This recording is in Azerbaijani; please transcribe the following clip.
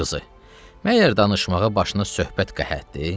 Əmi qızı, məgər danışmağa başına söhbət qəhətdir?